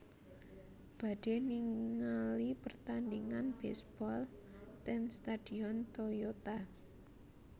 Badhe ningali pertandingan baseball ten stadion Toyota